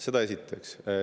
Seda esiteks.